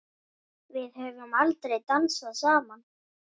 Við höfum aldrei dansað saman.